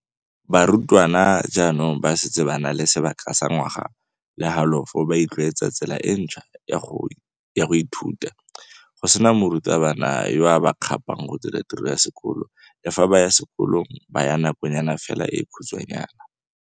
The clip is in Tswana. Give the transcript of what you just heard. "Barutwana jaanong ba setse ba na le sebaka sa ngwaga le halofo ba itlwaetsa tsela e ntšhwa ya go ithuta, go sena morutabana yo a ba kgapang go dira tiro ya sekolo le fa ba ya sekolong ba ya nakonyana fela e khutshwanyana."